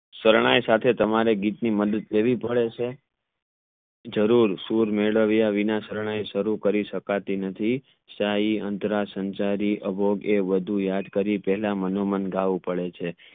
શરણાઈ સાથે તમને ગીત ની મદદ લેવી પડે છે જરૂર સૂર મેદવ્ય વિના શરણાઈ શરૂ કરી શકાતી નથી સહી આંત્ર સંચરી અભોગ એ યાદ કરી પહેલા મનોમન ગાવું પડે છે